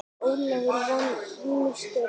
Ólafur vann ýmis störf.